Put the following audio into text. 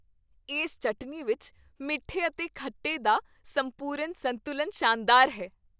ਇਸ ਚਟਨੀ ਵਿੱਚ ਮਿੱਠੇ ਅਤੇ ਖੱਟੇ ਦਾ ਸੰਪੂਰਨ ਸੰਤੁਲਨ ਸ਼ਾਨਦਾਰ ਹੈ।